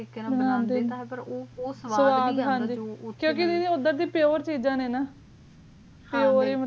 ਅੰਡੇ ਨਾ ਖਯਾ ਕਰੋ ਉਸਾਵਾਦ ਏਡਰ ਡੇਯ ਦੋ ਚੀਜ਼ਾਂ ਨਯਨ